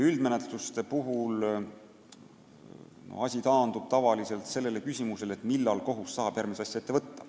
Nende puhul taandub asi tavaliselt küsimusele, millal kohus saab järgmise asja ette võtta.